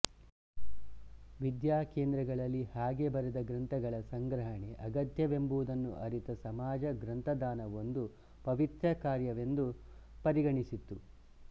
ವಿದ್ಯಾಕೇಂದ್ರಗಳಲ್ಲಿ ಹಾಗೆ ಬರೆದ ಗ್ರಂಥಗಳ ಸಂಗ್ರಹಣೆ ಅಗತ್ಯವೆಂಬುದನ್ನು ಅರಿತ ಸಮಾಜ ಗ್ರಂಥದಾನ ಒಂದು ಪವಿತ್ರಕಾರ್ಯವೆಂದು ಪರಿಗಣಿಸಿತ್ತು